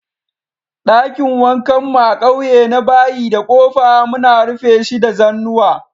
Dakin wankan mu a'ƙauye na bayi da kofa, muna rufe shi da zanuwa.